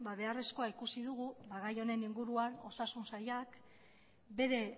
beharrezkoa ikusi dugu gai honen inguruan osasun sailak bere